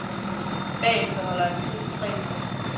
Bagefter holder han fri i tre uger.